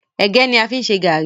ẹgẹ ní a fí n ṣe garri.